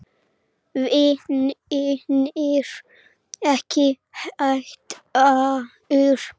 Vinirnir ekki heldur.